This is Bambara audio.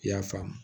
I y'a faamu